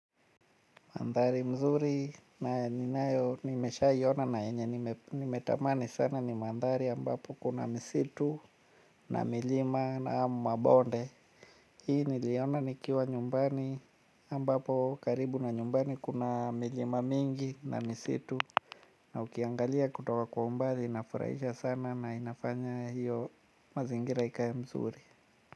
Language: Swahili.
Mandhari mzuri na ninayo nimeshaiona na yenye nimetamani sana ni mandhari ambapo kuna misitu na milima na mabonde. Hii niliona nikiwa nyumbani ambapo karibu na nyumbani kuna milima mingi na misitu na ukiangalia kutoka kwa umbali inafurahisha sana na inafanya hiyo mazingira ikae mzuri.